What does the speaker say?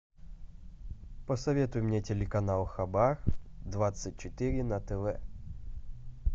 посоветуй мне телеканал хаба двадцать четыре на тв